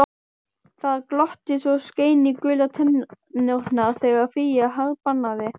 Það glotti svo skein í gular tennurnar þegar Fía harðbannaði